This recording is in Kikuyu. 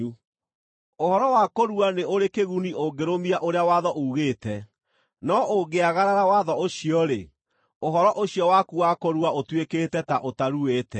Ũhoro wa kũrua nĩ ũrĩ kĩguni ũngĩrũmia ũrĩa watho uugĩte, no ũngĩagarara watho ũcio-rĩ, ũhoro ũcio waku wa kũrua ũtuĩkĩte ta ũtaruĩte.